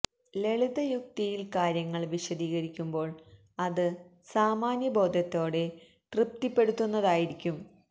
ലളിത യുക്തിയിൽ കാര്യങ്ങൾ വിശദീകരിക്കുമ്പോൾ അത് സാമാന്യ ബോധത്തെ തൃപ്തി പ്പെടുത്തുന്നതായിരിക്കും